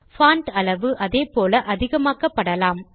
font அளவு அதே போல அதிகமாக்கப்படலாம்